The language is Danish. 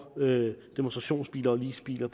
demonstrationsbiler og leasingbiler